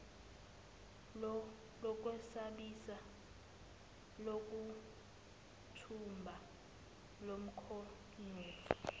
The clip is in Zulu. lokwesabisa lokuthumba lomkhonyovu